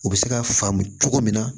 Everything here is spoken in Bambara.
U bɛ se ka faamu cogo min na